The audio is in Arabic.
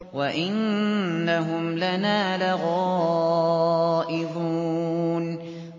وَإِنَّهُمْ لَنَا لَغَائِظُونَ